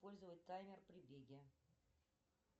использовать таймер при беге